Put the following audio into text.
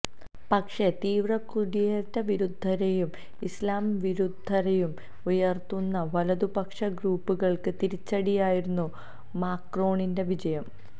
പക്ഷേ തീവ്ര കുടിയേറ്റ വിരുദ്ധതയും ഇസ്ലാം വിരുദ്ധതയും ഉയർത്തുന്ന വലതുപക്ഷ ഗ്രൂപ്പുകൾക്ക് തിരിച്ചടിയായിരുന്നു മാക്രോണിന്റെ വിജയം